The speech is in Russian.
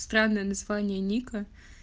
странное название ника